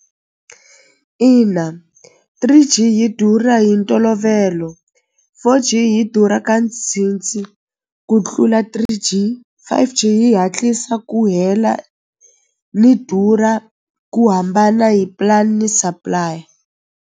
Ina three G yi durha hi ntolovelo four G yi durha ka ku tlula three G fiveG yi hatlisa ku hela ni durha ku hambana hi plan ni supply.